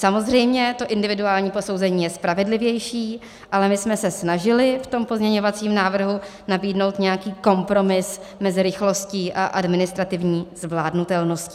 Samozřejmě to individuální posouzení je spravedlivější, ale my jsme se snažili v tom pozměňovacím návrhu nabídnout nějaký kompromis mezi rychlostí a administrativní zvládnutelností.